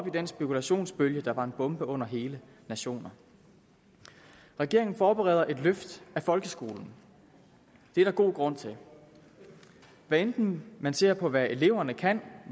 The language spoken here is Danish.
i den spekulationsbølge der var en bombe under hele nationer regeringen forbereder et løft af folkeskolen det er der god grund til hvad enten man ser på hvad eleverne kan